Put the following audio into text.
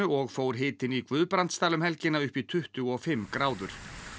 og fór hitinn í Guðbrandsdal um helgina upp í tuttugu og fimm gráður